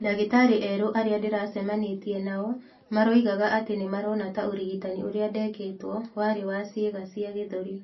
Ndagĩtarĩ erũ arĩa ndĩracemanĩtie nao maroigaga atĩ nĩ marona ta ũrigitani ũria ndekĩtwo warĩ wa cĩĩga cia gĩthũri.